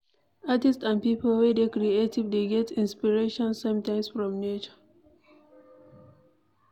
Artist and pipo wey dey creative dey get inspiration sometimes from nature